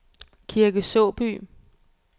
Kirke Såby